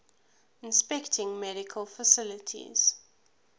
inspecting medical facilities